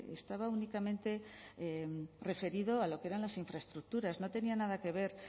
estaba únicamente referido a lo que eran las infraestructuras no tenía nada que ver